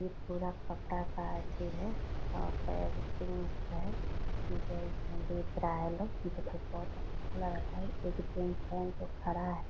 ये पूरा कपड़ा का एथी है जो इसमें बेच रहा है लोग मुझे बहुत अच्छा लग रहा है एक जीन्स पहन के खड़ा है